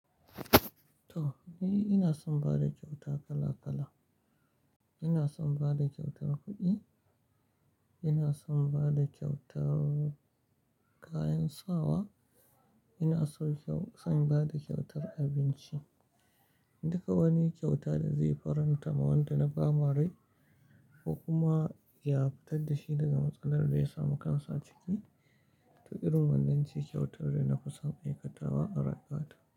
To, ni ina son bada kyauta kala kala. Ina son bada kyautar kuɗi, ina son bada kyautar kayan sawa, ina son kyau-- son bada kyautar abinci. Duka wani kyauta da zai faranta ma wanda na ba ma rai ko kuma ya fitar da shi daga matsalar da ya samu kansa a ciki, to irin wannan ce kyautar da na fi son aikatawa a rayuwata.